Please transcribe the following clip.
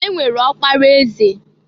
E nwere ọkpara eze.